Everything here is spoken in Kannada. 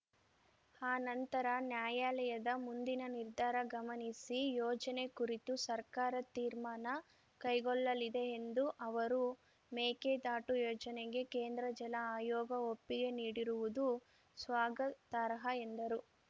ಆನಂತರ ನ್ಯಾಯಾಲಯದ ಮುಂದಿನ ನಿರ್ಧಾರ ಗಮನಿಸಿ ಯೋಜನೆ ಕುರಿತು ಸರ್ಕಾರ ತೀರ್ಮಾನ ಕೈಗೊಳ್ಳಲಿದೆ ಎಂದು ಅವರು ಮೇಕೆದಾಟು ಯೋಜನೆಗೆ ಕೇಂದ್ರ ಜಲ ಆಯೋಗ ಒಪ್ಪಿಗೆ ನೀಡಿರುವುದು ಸ್ವಾಗತಾರ್ಹ ಎಂದರು